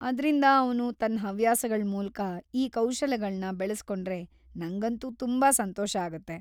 ಆದ್ರಿಂದ ಅವ್ನು ತನ್ ಹವ್ಯಾಸಗಳ್ ಮೂಲ್ಕ ಈ ಕೌಶಲಗಳ್ನ ಬೆಳೆಸ್ಕೊಂಡ್ರೆ, ನಂಗಂತೂ ತುಂಬಾ ಸಂತೋಷ ಆಗತ್ತೆ.